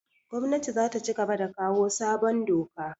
Gwamnatin zata cigaba da kawo sabon doka